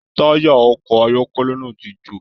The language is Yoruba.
Taya ọkọ ayọkẹlẹ náà tí jo.